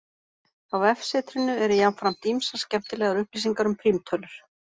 Á vefsetrinu eru jafnframt ýmsar skemmtilegar upplýsingar um prímtölur.